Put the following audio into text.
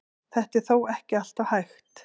Þetta er þó ekki alltaf hægt.